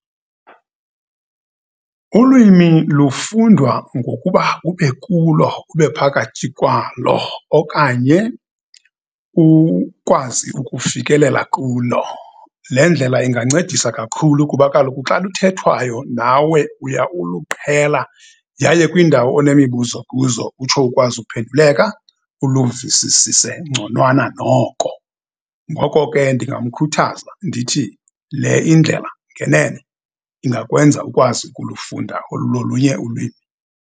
Ulwimi lufundwa ngokuba ube kulo, ube phakathi kwalo, okanye ukwazi ukufikelela kulo. Le ndlela ingancedisa kakhulu, kuba kaloku xa luthethwayo nawe uya uluqhela, yaye kwindawo onemibuzo kuzo, utsho ukwazi ukuphenduleka, uluvisisise ngconwanana noko. Ngoko ke, ndingamkhuthaza ndithi le indlela ngenene ingakwenza ukwazi ukulufunda olulunye ulwimi.